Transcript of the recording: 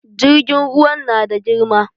Jirgin ruwan na da girma